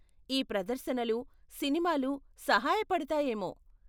ఈ ప్రదర్శనలు, సినిమాలు సహాయ పడతాయేమో.